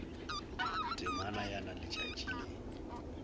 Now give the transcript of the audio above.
temana ya na letšatši le